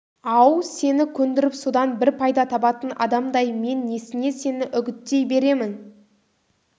ау сені көндіріп содан бір пайда табатын адамдай мен несіне сені үгіттей беремін